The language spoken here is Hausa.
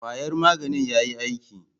Kwayar maganin yayi aiki?